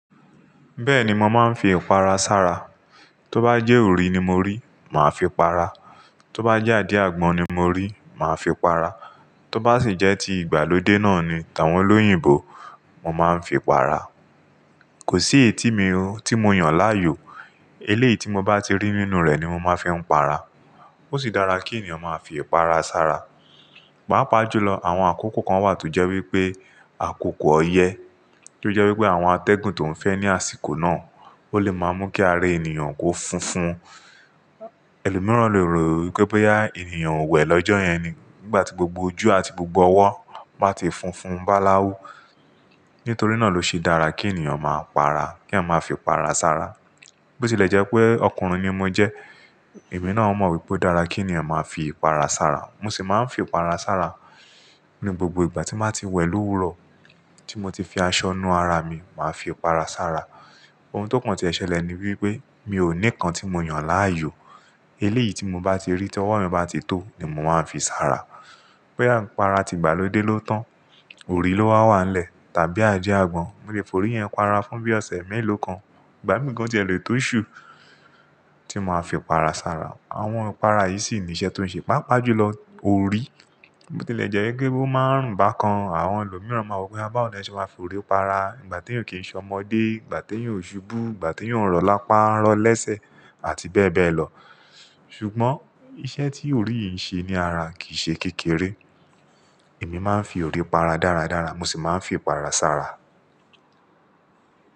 Bẹ́ẹ̀ni, mo máa ń fi ìpara sára. Tó bá jẹ́ òrì ni mo rí, màá fi para. Tó bá jẹ́ adi àgbọn ni mo rí, màá fi para. Tó bá sì jẹ́ ti ìgbàlódé náà ni, ti àwọn olóyìnbo, mo máa ń fi para. Kò sí eyití mi tí mo yàn láàyò, eléyìí tí mo bá ti rí nínú rẹ̀ ni mo máa fi ń para. Ó sì dára kí ènìyàn máa fi ìpara sára. Pápá jù lọ, àwọn àkókò kan wà tó jẹ́ wípé àkókò ọyẹ́, tí ó jẹ́ wípé àwọn atẹ́gùn tó ń fẹ́ ní àsìkò náà, ó lè máa mú kí ara ènìyàn kó funfun. Ẹlòmíràn lè rò wípé bá ènìyàn o wẹ̀ lọ́jọ́ yẹn ni, nígbà tí gbogbo ojú àti gbogbo ọwọ́ báa ti funfun báláwú. Nítorí náà ló ṣe dára kí ènìyàn máa para, kí à máa fi ìpara sára. Bó tilẹ̀ jẹ́ pé ọkùnrin ni mo jẹ́, èmi náà ó mọ wípé ó dára kí ènìyàn máa fi ìpara sára. Mo sì máa ń fi ìpara sára ní gbogbo ìgbà tí máa ti wẹ̀ lówúrọ̀, tí mo ti fi aṣọ nu ara mi, màá fi ìpara sára. Ohun tó pọ̀n tí ó ṣẹlẹ̀ ni wípé mi ò ní kan tí mo yàn láàyò, eléyìí tí mo bá ti rí tí ọwọ́ mi bá ti tó ni mo máa ń fi sára. Boya ìpara ti ìgbàlódé ló tán, òrì ló wà wá lẹ̀ tàbí adé àgbọn, mo lè fòrí yẹn para fún bí ọ̀sẹ̀ mẹ́lò kan, ìgbà mí gán jẹ èlò tó ṣù tí mo máa fi para sára. Àwọn ìpara yìí sì ní iṣẹ́ tó ń ṣe, pápá jù lọ, òrì. Bó tilẹ̀ jẹ́ wípé ó máa ń run bà kan, àwọn ẹlòmíràn máa wí pé, "à bá ọ̀nà ẹ ṣe máa fòrí òpara, ìgbà tíyàn kìí ṣe ọmọdé, ìgbà tíyàn ò ṣubú, ìgbà tíyàn ò rọ̀ lápá rọ̀ lẹ́sẹ̀" àti bẹ́ẹ̀ bẹ́ẹ̀ lọ. Ṣùgbọ́n iṣẹ́ tí òrì yìí ń ṣe ní ara kìí ṣe kékeré. Èmi máa ń fi òrì para dára dára, mo sì máa ń fi ìpara sára.